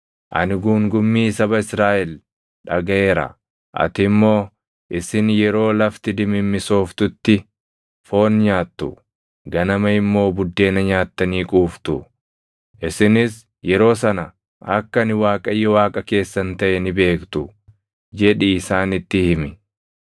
“Ani guungummii saba Israaʼel dhagaʼeera. Ati immoo, ‘Isin yeroo lafti dimimmisooftutti foon nyaattu; ganama immoo buddeena nyaattanii quuftu. Isinis yeroo sana akka ani Waaqayyo Waaqa keessan taʼe ni beektu’ jedhii isaanitti himi.”